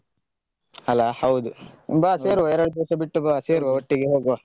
ಅಲ ಹೌದು ಬಾ ಸೇರುವ ಹೌದು ಎರಡು ದಿವಸ ಬಿಟ್ಟು ಬಾ ಸೇರುವ ಒಟ್ಟಿಗೆ ಹೋಗುವ.